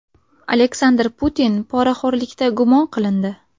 Aleksandr Putin poraxo‘rlikda gumon qilindi.